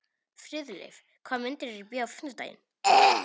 Friðleif, hvaða myndir eru í bíó á fimmtudaginn?